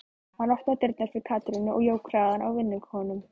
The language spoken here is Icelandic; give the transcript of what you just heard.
Hann opnaði dyrnar fyrir Katrínu og jók hraðann á vinnukonunum.